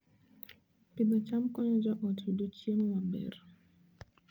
Pidho cham konyo joot yudo chiemo maber